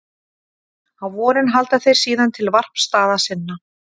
Á vorin halda þeir síðan til varpstaða sinna.